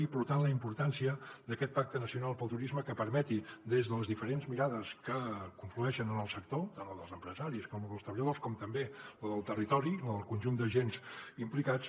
i per tant la importància d’aquest pacte nacional pel turisme que permeti des de les diferents mirades que conflueixen en el sector tant la dels empresaris com la dels treballadors com també la del territori la del conjunt d’agents implicats